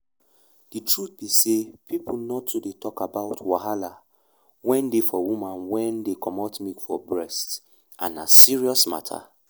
the truth be say people nor too dey talk about wahala wen dey for woman wen dey comot milk from breast and na serious matter.